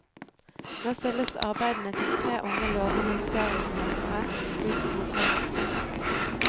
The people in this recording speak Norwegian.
Nå stilles arbeidene til tre unge, lovende serieskapere ut i bokhandelen.